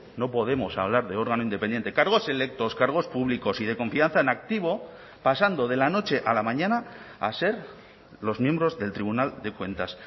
no podemos hablar de órgano independiente cargos electos cargos públicos y de confianza en activo pasando de la noche a la mañana a ser los miembros del tribunal de cuentas